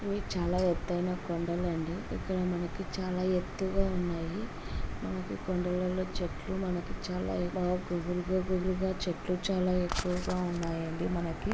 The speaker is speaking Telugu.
ఇది చాలా ఎత్తయిన కొండాలండి ఇక్కడ మనకు చాలా ఎత్హుగా ఉన్నాయి. మనకి కొండలలో చెట్లు మనకి చాలా గుబురు గుబురుగా చెట్లు చాలా ఎక్కువగా ఉన్నాయండి మనకి.